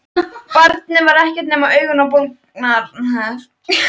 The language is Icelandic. Barnið var ekkert nema augun og olnbogarnir.